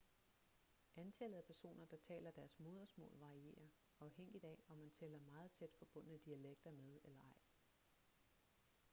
antallet af personer der taler deres modersmål varierer afhængigt af om man tæller meget tæt forbundne dialekter med eller ej